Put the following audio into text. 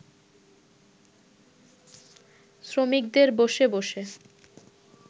শ্রমিকদের বসে বসে